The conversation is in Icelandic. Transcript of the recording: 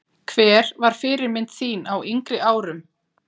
Hver var fyrirmynd þín á yngri árum?